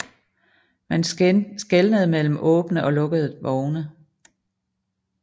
Man skelnede mellem åbne og lukkede vogne